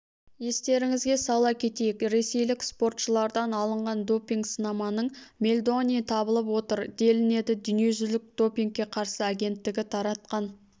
естеріңізге сала кетейік ресейлік спортшылардан алынған допинг-сынаманың мельдоний табылып отыр делінеді дүниежүзілік допингке қарсы агенттігі таратқан